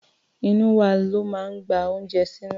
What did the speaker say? Inú wa ló máa ń gba oúnjẹ sínú.